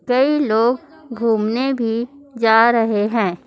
कई लोग घूमने भी जा रहे हैं।